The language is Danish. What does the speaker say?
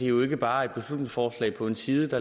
jo ikke bare et beslutningsforslag på én side det